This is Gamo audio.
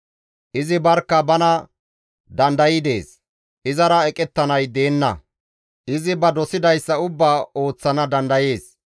«Izi barkka bana danday dees; izara eqettanay deenna; izi ba dosidayssa ubbaa ooso dandayees.